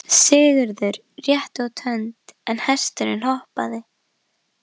Sigurður rétti út hönd en hesturinn hopaði.